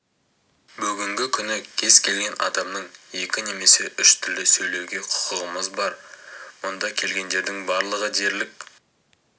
бүгінгі күні кез келген адамның екі немесе үш тілде сөйлеуге құқығымыз бар мұнда келгендердің барлығы дерлік